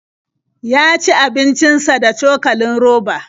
Ya ci abincin sa da cokalin roba.